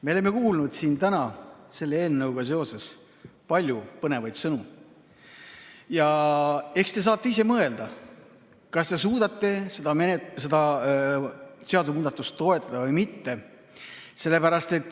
Me oleme kuulnud siin täna selle eelnõuga seoses palju põnevaid sõnu ja eks te saate ise mõelda, kas suudate seda seadusemuudatust toetada või mitte.